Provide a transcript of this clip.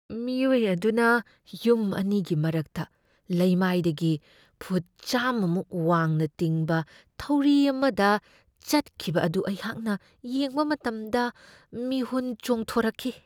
ꯃꯤꯑꯣꯏ ꯑꯗꯨꯅ ꯌꯨꯝ ꯑꯅꯤꯒꯤ ꯃꯔꯛꯇ ꯂꯩꯃꯥꯏꯗꯒꯤ ꯐꯨꯠ ꯆꯥꯃꯃꯨꯛ ꯋꯥꯡꯅ ꯇꯤꯡꯕ ꯊꯧꯔꯤ ꯑꯃꯗ ꯆꯠꯈꯤꯕ ꯑꯗꯨ ꯑꯩꯍꯥꯛꯅ ꯌꯦꯡꯕ ꯃꯇꯝꯗ ꯃꯤꯍꯨꯟ ꯆꯣꯡꯊꯣꯛꯔꯛꯈꯤ ꯫